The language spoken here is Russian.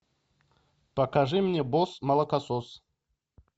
покажи мне босс молокосос